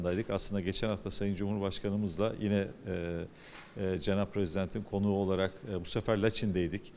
Əslində keçən həftə cənab Prezidentimizlə yenə eee eee Cənab Prezidentin qonağı olaraq bu dəfə Laçında idik.